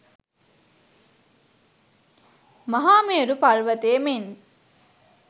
මහාමේරු පර්වතය මෙන්